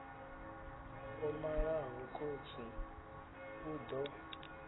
o malaho khotsi u ḓo